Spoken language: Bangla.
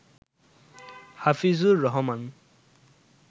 হাফিজুর রহমান